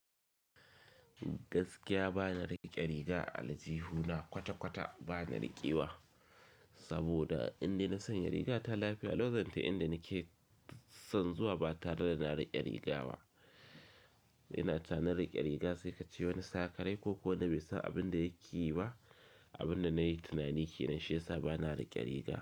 Gaskiya ba na riƙe riga ah aljihuna kwata-kwata ba na riƙewa saboda inde na sanya riga ta lafiya. Lokocin inda nike son zuwa ba tare da na riƙe riga ba. Ina can na riƙe riga sai ka ce wani sakarai ko ko nabe sa abin da yake yi ba, abin da nayi tunani ke nan shi ya sa ba na riƙe riga.